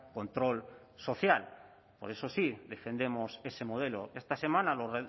control social por eso sí defendemos ese modelo esta semana lo